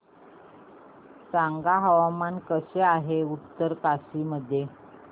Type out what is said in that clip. सांगा हवामान कसे आहे उत्तरकाशी मध्ये